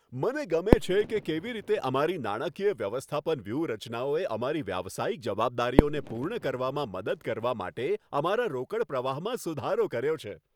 મને ગમે છે કે કેવી રીતે અમારી નાણાકીય વ્યવસ્થાપન વ્યૂહરચનાઓએ અમારી વ્યવસાયિક જવાબદારીઓને પૂર્ણ કરવામાં મદદ કરવા માટે અમારા રોકડ પ્રવાહમાં સુધારો કર્યો છે.